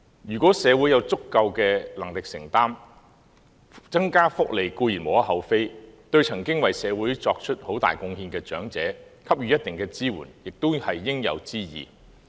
如果社會有足夠能力承擔，增加福利固然無可厚非，對曾經為社會作出很大貢獻的長者給予一定的支援，亦是應有之義。